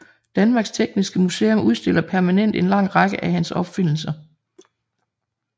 Danmarks Tekniske Museum udstiller permanent en lang række af hans opfindelser